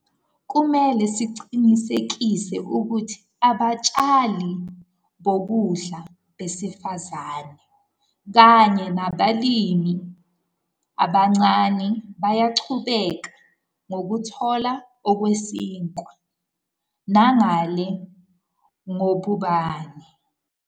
Kumele siqinisekise ukuthi abatshali bokudla besifazane kanye nabalimi abancane bayaqhubeka ukuthola ukwesekwa nangale kobhubhane.